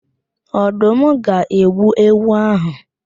Ọdụm ga-egbu ewu áhụ̀.